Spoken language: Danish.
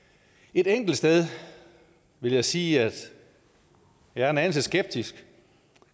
et enkelt sted vil jeg sige at jeg er en anelse skeptisk